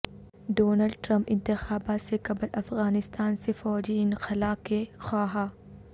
Donald Trump انتخابات سے قبل افغانستان سے فوجی انخلا کے خواہاں